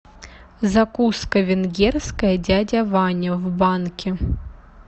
закуска венгерская дядя ваня в банке